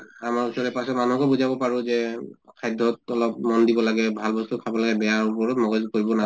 আমাৰ ওচৰে পাজৰে মানুহকো বুজাব পাৰো যে খাদ্য়ত অলপ মন দিব লাগে, ভাল বস্তু খাব লাগে বেয়াৰ ওপৰত মগজ কৰিব